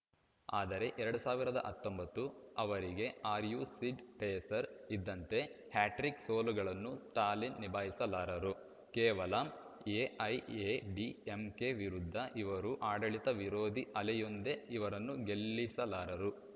ಆದರೆ ಎರಡ್ ಸಾವಿರದ ಹತ್ತೊಂಬತ್ತು ಅವರಿಗೆ ಆ್ಯಸಿಡ್‌ ಟೆರ್ಸರ್ ಇದ್ದಂತೆ ಹ್ಯಾಟ್ರಿಕ್‌ ಸೋಲುಗಳನ್ನು ಸ್ಟಾಲಿನ್‌ ನಿಭಾಯಿಸಲಾರರು ಕೇವಲ ಎಐಎಡಿಎಂಕೆ ವಿರುದ್ಧ ಇರುವ ಆಡಳಿತವಿರೋಧಿ ಅಲೆಯೊಂದೇ ಇವರನ್ನು ಗೆಲ್ಲಿಸಲಾರದು